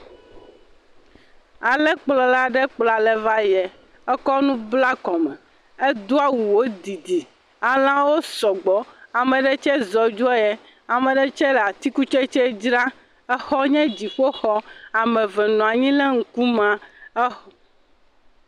Alẽ klpɔ la ɖe kplɔ alẽ vayiɛ ekɔ nu bla kɔme edoawu wo didi. Alẽawo sɔgbɔ, ameɖe tsɛ zɔ dzoɔyiɛ, ameɖe tsɛ le atikutsetse dzrã, exɔnye dziƒoxɔ ameve nɔanyi le ŋkumea.